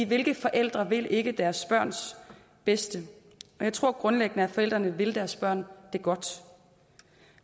hvilke forældre vil ikke deres børns bedste jeg tror grundlæggende at forældrene vil deres børn det godt